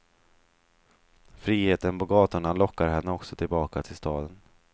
Friheten på gatorna lockar henne också tillbaka till staden.